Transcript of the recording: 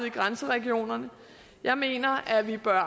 i grænseregionerne jeg mener at vi bør